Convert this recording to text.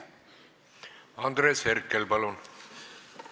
Andres Herkel, palun!